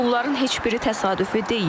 Bunların heç biri təsadüfü deyil.